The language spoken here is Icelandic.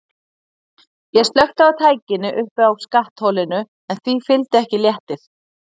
Ég slökkti á tækinu uppi á skattholinu en því fylgdi ekki léttir.